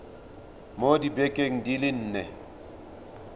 mo dibekeng di le nne